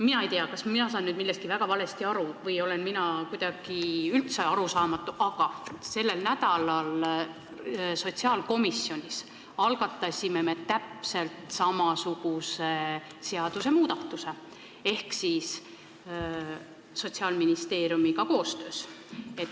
Ma ei tea, kas ma saan nüüd millestki väga valesti aru, aga sellel nädalal me sotsiaalkomisjonis algatasime täpselt samasuguse seadusmuudatuse, tehes seda koostöös Sotsiaalministeeriumiga.